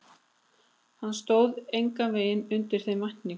Hann stóð engan veginn undir þeim væntingum.